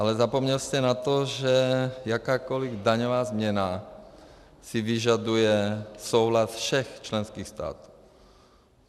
Ale zapomněl jste na to, že jakákoliv daňová změna si vyžaduje souhlas všech členských států.